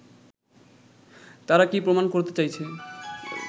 তারা কি প্রমাণ করতে চাইছে